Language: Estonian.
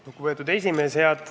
Lugupeetud esimees!